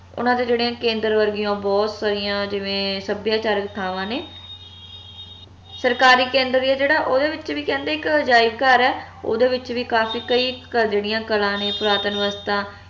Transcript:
ਓਨਾ ਦੀਆ ਜਿਵੇ ਕੇਂਦਰ ਵਰਗੀਆਂ ਬਹੁਤ ਸਾਰੀਆਂ ਜਿਵੇਂ ਸੱਭਿਆਚਾਰਕ ਥਾਵਾਂ ਨੇ ਸਰਕਾਰੀ ਕੇਂਦਰ ਆ ਜਿਹੜਾ ਓਹਦੇ ਵਿਚ ਵੀ ਕਹਿੰਦੇ ਇਕ ਅਜਾਇਬ ਘਰ ਆ ਓਹਦੇ ਵਿਚ ਵੀ ਕਾਫੀ ਕਈ ਜੇੜੀਆਂ ਕਲਾ ਨੇ ਪੁਰਾਤਨ ਅਵਸਥਾ